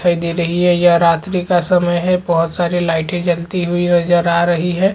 दिखाई दे रही है यह रात्री का समय है बहोत सारी लाइटे जलती हुई नज़र आ रही है।